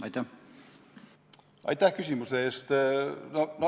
Aitäh küsimuse eest!